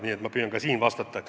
Nii et ma püüan ka praegu vastata.